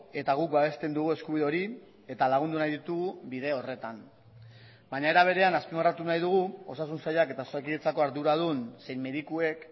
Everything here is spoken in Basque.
eta guk babesten dugu eskubide hori eta lagundu nahi ditugu bide horretan baina era berean azpimarratu nahi dugu osasun sailak eta osakidetzako arduradun zein medikuek